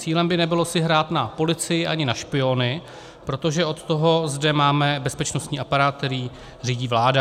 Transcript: Cílem by nebylo si hrát na policii ani na špiony, protože od toho zde máme bezpečnostní aparát, který řídí vláda.